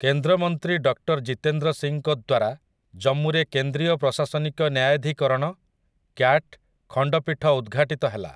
କେନ୍ଦ୍ରମନ୍ତ୍ରୀ ଡକ୍ଟର୍ ଜିତେନ୍ଦ୍ର ସିଂଙ୍କ ଦ୍ୱାରା ଜମ୍ମୁରେ କେନ୍ଦ୍ରୀୟ ପ୍ରଶାସନିକ ନ୍ୟାୟାଧୀକରଣ, କ୍ୟାଟ, ଖଣ୍ଡପୀଠ ଉଦ୍ଘାଟିତ ହେଲା ।